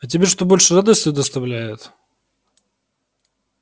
а тебе что больше радости доставляет